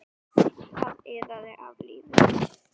Það iðaði af lífi.